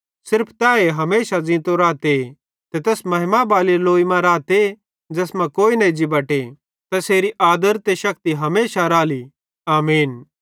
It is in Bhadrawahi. सिर्फ तैए हमेशा ज़ींतो रहते ते तै तैस महिमा बैली लोई मां रहते ज़ैस कां कोई न एज्जी बटे तैसेरी आदर ते शक्ति हमेशा राली आमीन